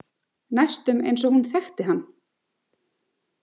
Næstum eins og hún þekkti hann.